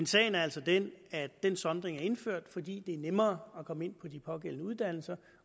sagen er altså den at den sondring er indført fordi det er nemmere at komme ind på de pågældende uddannelser